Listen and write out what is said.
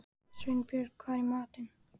Sveinbjörg, hvað er í matinn?